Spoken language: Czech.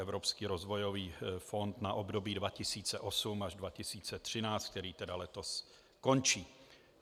Evropský rozvojový fond na období 2008 až 2013, který tedy letos končí.